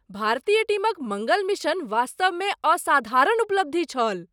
भारतीय टीमक मङ्गल मिशन वास्तवमे असाधारण उपलब्धि छल!